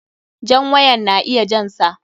Jan wayan na iya jan sa.